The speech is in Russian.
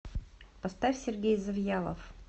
поставь сергей завьялов